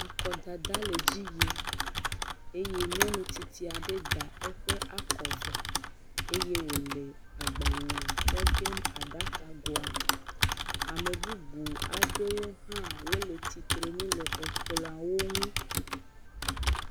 Akɔdada le dzi yim eye nyɔnu tsitsi aɖe da eƒe akɔ vɔ eye wo le agbalea tsɔm de aɖakagoa me. Ame bubu aɖewo hã wole tsitre nu le ekplɔawo nu.